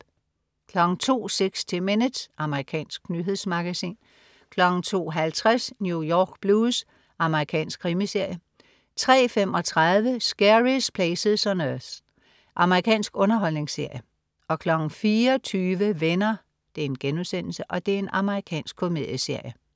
02.00 60 Minutes. Amerikansk nyhedsmagasin 02.50 New York Blues. Amerikansk krimiserie 03.35 Scariest Places on Earth. Amerikansk underholdningsserie 04.20 Venner.* Amerikansk komedieserie